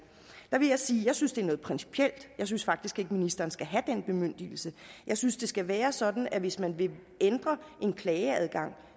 er vil jeg sige at jeg synes det er noget principielt jeg synes faktisk ikke ministeren skal have den bemyndigelse jeg synes det skal være sådan at hvis man vil ændre en klageadgang